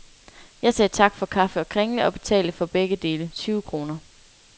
Jeg sagde tak for kaffe og kringle, og betalte, for begge dele, tyve kroner.